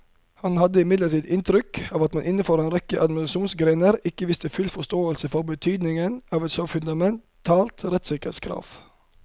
Han hadde imidlertid inntrykk av at man innenfor en rekke administrasjonsgrener ikke viste full forståelse for betydningen av et så fundamentalt rettssikkerhetskrav.